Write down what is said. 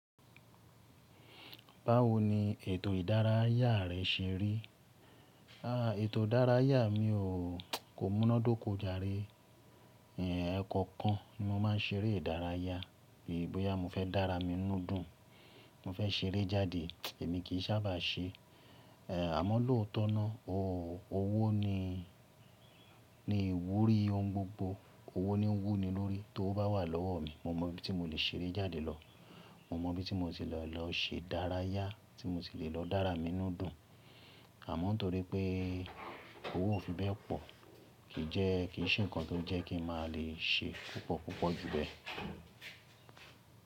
Báwo ni ètò ìdárayá rẹ ṣe rí? Àaa, ètò ìdárayá mi ò, kò múnádóko jàre. Ẹ̀ẹ̀ kọ̀ọ̀kan ni mo máa ń ṣeré ìdárayá. Bí i bóyá mo fẹ́ dára mi inú dùn, mo fẹ́ ṣeré jáde, èmi kì í sábà ṣe. Ẹ̀ Àmọ́ lóòótọ́ náà, ò ó owó ni, ni iwúrí ohun gbogbo. Owó ni ń wú ni lórí. Tówo bá wà lọ́wọ́ mi, mo mọ bí ti mo le ṣeré jáde lọ. Mo mọ bí ti mo ti le lọ ṣe ìdárayá, tí mo ti le lọ dára mi inú dùn. Àmọ́ torí pé owó ò fi bẹ́ẹ̀ pọ̀, kì í jẹ́, kì í ṣe nǹkan tó jẹ́ kí n má lè ṣe púpọ̀ púpọ̀ jù bẹ́ẹ̀